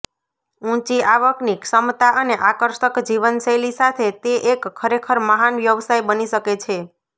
ઊંચી આવકની ક્ષમતા અને આકર્ષક જીવનશૈલી સાથે તે એક ખરેખર મહાન વ્યવસાય બની શકે છે